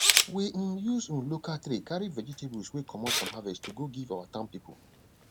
we um use um local tray carry vegetables wey comot from harvest to go give our town people